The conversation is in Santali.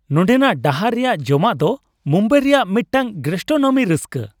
ᱱᱚᱸᱰᱮᱱᱟᱜ ᱰᱟᱦᱟᱨ ᱨᱮᱭᱟᱜ ᱡᱚᱢᱟᱜ ᱫᱚ ᱢᱩᱢᱵᱟᱭ ᱨᱮᱭᱟᱜ ᱢᱤᱫᱴᱟᱝ ᱜᱮᱹᱥᱴᱨᱳᱱᱚᱢᱤ ᱨᱟᱹᱥᱠᱟᱹ ᱾